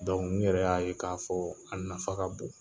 n yɛrɛ y'a ye k'a fɔ , a nafa ka bon.